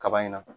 Kaba in na